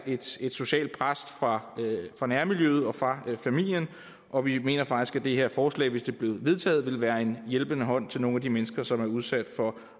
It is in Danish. et socialt pres fra nærmiljøet og fra familien og vi mener faktisk at det her forslag hvis det blev vedtaget ville være en hjælpende hånd til nogle af de mennesker som er udsat for